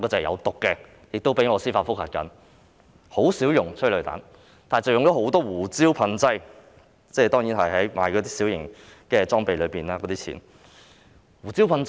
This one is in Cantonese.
現在很少用催淚彈，但用了很多次胡椒噴劑，這方面的開支屬於購置小型工具的款項。